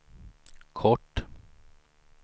kort